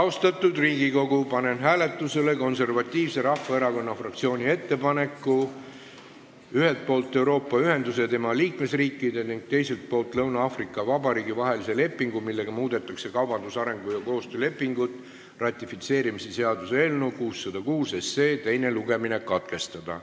Austatud Riigikogu, panen hääletusele Konservatiivse Rahvaerakonna fraktsiooni ettepaneku "Ühelt poolt Euroopa Ühenduse ja tema liikmesriikide ning teiselt poolt Lõuna-Aafrika Vabariigi vahelise lepingu, millega muudetakse kaubandus-, arengu- ja koostöölepingut" ratifitseerimise seaduse eelnõu 606 teine lugemine katkestada.